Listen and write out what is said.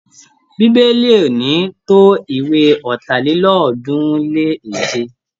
Bíbélì ò ní tó ìwé Ọ̀tàlélọ́ọ̀ọ́dúnrún-lé-èje.